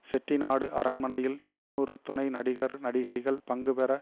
செட்டிநாடு அரண்மனையில் இருநூறு துணை நடிகர் நடிகைகள் பங்குபெற